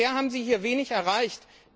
Bisher haben Sie hier wenig ereicht.